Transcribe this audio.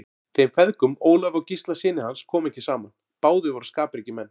Þeim feðgum, Ólafi og Gísla syni hans, kom ekki saman, báðir voru skapríkir menn.